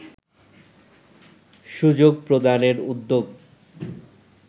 সুযোগ প্রদানের উদ্যোগ